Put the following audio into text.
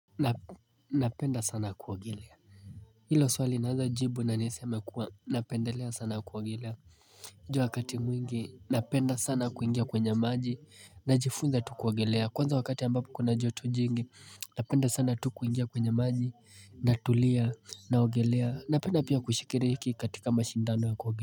Napenda sana kuogelea Hilo swali naweza jibu na nisema kuwa napendelea sana kuogelea ju wakati mwingi napenda sana kuingia kwenye maji Najifunza tukuogelea kwanza wakati ambapo kuna joto jingi Napenda sana tu kuingia kwenye maji natulia na ogelea napenda pia kushikiri hiki katika mashindano ya kuogelea.